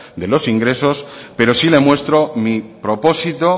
de los ingresos pero sí le muestro mi propósito